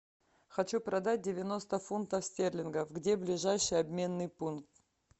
хочу продать девяносто фунтов стерлингов где ближайший обменный пункт